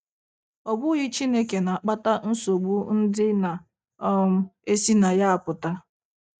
Ọ bụghị Chineke na - akpata nsogbu ndị na um - esi na ya apụta.